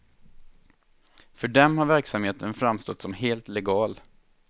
För dem har verksamheten framstått som helt legal.